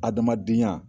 Adamadenya